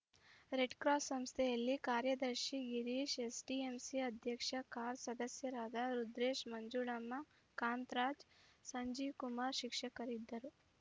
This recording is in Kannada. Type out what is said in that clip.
ರೆಡ್‌ಕ್ರಾಸ್‌ ಸಂಸ್ಥೆಯಲ್ಲಿ ಕಾರ್ಯದರ್ಶಿ ಗಿರೀಶ್‌ ಎಸ್‌ಡಿಎಂಸಿ ಅಧ್ಯಕ್ಷ ಖಾದರ್‌ ಸದಸ್ಯರಾದ ರುದ್ರೇಶ್‌ ಮಂಜುಳಮ್ಮ ಕಾಂತರಾಜ್‌ ಸಂಜೀವ್‌ ಕುಮಾರ್‌ ಶಿಕ್ಷಕರು ಇದ್ದರು